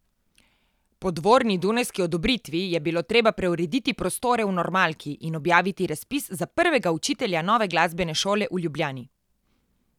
Po dvorni dunajski odobritvi je bilo treba preurediti prostore v normalki in objaviti razpis za prvega učitelja nove glasbene šole v Ljubljani.